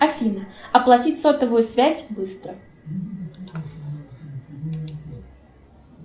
афина оплатить сотовую связь быстро